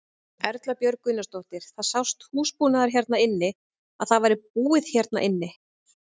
Erla Björg Gunnarsdóttir: Það sást húsbúnaður hérna inni að það væri búið hérna inni?